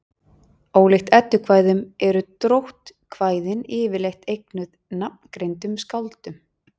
ólíkt eddukvæðum eru dróttkvæðin yfirleitt eignuð nafngreindum skáldum